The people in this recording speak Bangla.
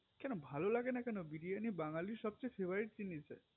কেন ভালো লাগে না কেন বিরিয়ারি বাঙালির সবচেয়ে favorite জিনিস